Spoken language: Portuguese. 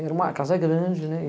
Era uma casa grande, né?